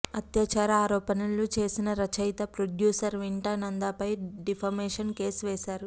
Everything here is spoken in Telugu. అత్యాచార ఆరోపణలు చేసినరచయిత ప్రొడ్యూసర్ వింటా నందాపై డిఫమేషన్ కేసు వేశారు